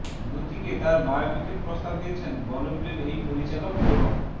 দ্যুতিকে তাঁর বায়োপিকের প্রস্তাব দিয়েছেন বলিউডের এই পরিচালক এবং